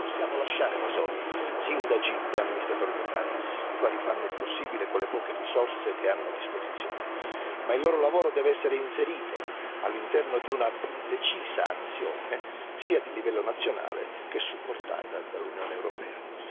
Non possiamo lasciare da soli sindaci e amministratori locali, i quali fanno il possibile, con le poche risorse che hanno a disposizione, ma il loro lavoro deve essere inserito all'interno di una più decisa azione sia di livello nazionale che supportata dall'Unione europea.